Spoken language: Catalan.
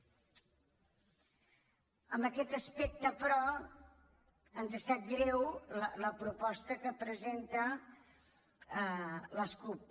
en aquest aspecte però ens sap greu la proposta que presenta la cup